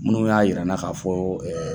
Minnu y'a yir'an na k'a fɔ